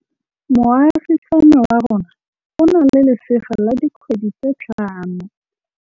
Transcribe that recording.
Moagisane wa rona o na le lesea la dikgwedi tse tlhano.